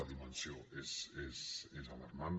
la dimensió és alarmant